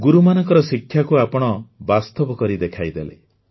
ଗୁରୁମାନଙ୍କ ଶିକ୍ଷାକୁ ଆପଣ ବାସ୍ତବ କରି ଦେଖାଇଲେ